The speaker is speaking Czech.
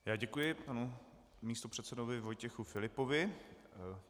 Já děkuji panu místopředsedovi Vojtěchu Filipovi.